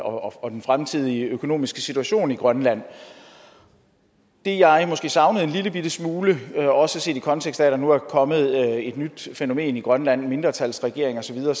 og den fremtidige økonomiske situation i grønland det jeg måske savnede en lillebitte smule også set i kontekst af at der nu er kommet et et nyt fænomen i grønland en mindretalsregering og så videre